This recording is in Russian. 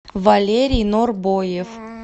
валерий норбоев